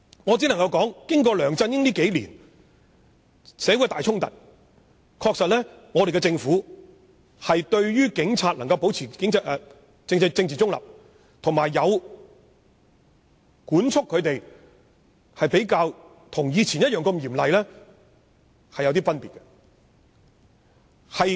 我只能說，在梁振英管治的數年間，香港曾發生重大衝突，政府對警察須保持政治中立及對警察的管束比較鬆懈，不像以往般嚴厲。